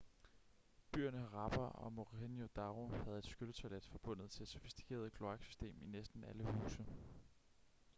byerne harappa og mohenjo-daro havde et skylletoilet forbundet til et sofistikeret kloaksystem i næsten alle huse